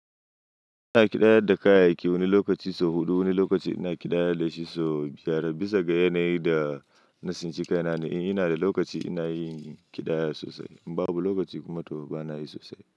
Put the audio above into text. Ina ƙidayar da kayayyaki, wani lokaci sau huɗu, wani lokaci ina ƙidaya da shi sau biyar bisa ga yanayin da na since kaina ne. Ina da lokaci ina yin ƙidaya sosai, in babu lokaci kuma tofa bana yi sosai.